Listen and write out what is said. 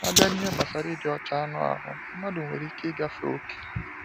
A bịa n’ihe gbasara ịdị ọcha anụ ahụ, mmadụ nwere ike ịgafe okè.